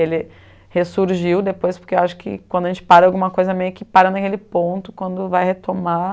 Ele ressurgiu depois, porque acho que quando a gente para alguma coisa, meio que para naquele ponto, quando vai retomar,